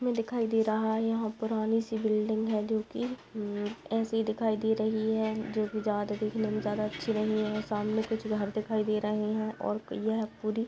इसमें दिखाई दे रहा है यहां पुरानी सी बिल्डिंग है जो कि ऐसे ही दिखाई दे रही है जो कि ज्यादा देखने में ज्यादा अच्छी नहीं है सामने कुछ घर दिखाई दे रहे है और यह पूरी--